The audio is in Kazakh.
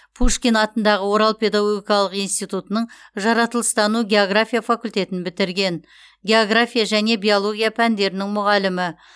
пушкин атындағы орал педагогикалық институтының жаратылыстану география факультетін бітірген география және биология пәндерінің мұғалімі